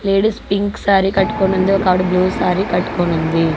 Ladies pink sari కట్టుకొని ఉంది. ఒకావిడ బ్లూ సారీ కట్టుకొనుంది.